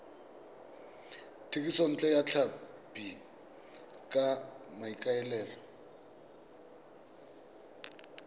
thekisontle ya tlhapi ka maikaelelo